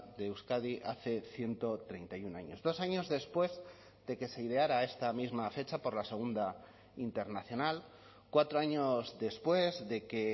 de euskadi hace ciento treinta y uno años dos años después de que se ideara esta misma fecha por la segunda internacional cuatro años después de que